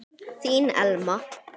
Þín Elma.